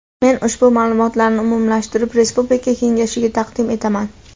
Men ushbu ma’lumotlarni umumlashtirib respublika kengashiga taqdim etaman.